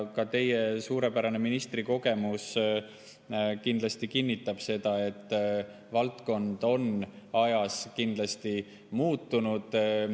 Ka teie suurepärane ministrikogemus kindlasti kinnitab seda, et valdkond on ajas muutunud.